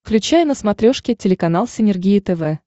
включай на смотрешке телеканал синергия тв